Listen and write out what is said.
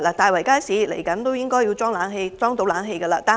大圍街市即將安裝冷氣系統，但西貢市中心街市又如何？